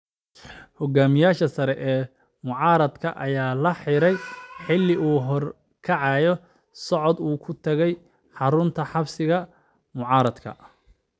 Hoggaamiyaha sare ee mucaaradka ayaa la xiray xilli uu horkacayay socod uu ku tagayay xarunta xisbiga mucaaradka.